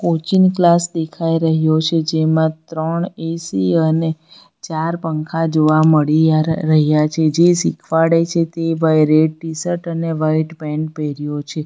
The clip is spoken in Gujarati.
કોચિંગ ક્લાસ દેખાઈ રહ્યો છે જેમાં ત્રણ એ_સી અને ચાર પંખા જોવા મળી યા રહ્યા છે જે શીખવાડે છે તે ભાઈ રેડ ટીશર્ટ અને વાઈટ પેન્ટ પહેર્યો છે.